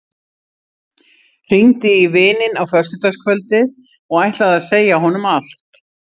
Hringdi í vininn á föstudagskvöldið og ætlaði að segja honum allt.